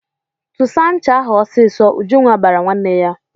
"Tụsa ncha ahụ ọsịsọ!" Ujunwa bara nwanne ya.